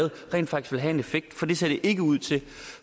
rent faktisk vil have en effekt for det ser det ikke ud til